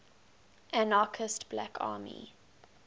anarchist black army